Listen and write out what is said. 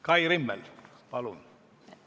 Kai Rimmel, palun!